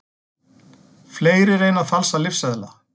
Fleiri reyna að falsa lyfseðla